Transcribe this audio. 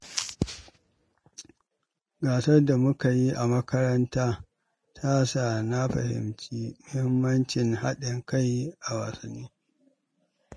Gasar da muka yi a makaranta ta sa na fahimci mahimmancin haɗin kai a wasanni.